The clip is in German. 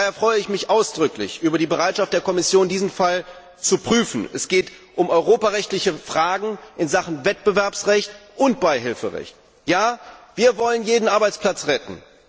Daher freue ich mich ausdrücklich über die Bereitschaft der Kommission, diesen Fall zu prüfen. Es geht um europarechtliche Fragen in Sachen Wettbewerbsrecht und Beihilferecht. Ja, wir wollen jeden Arbeitsplatz retten!